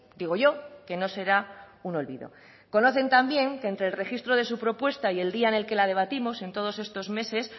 digo yo que no será un olvido conocen también que entre el registro de su propuesta y el día en que la debatimos en todos estos meses